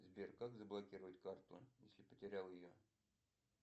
сбер как заблокировать карту если потерял ее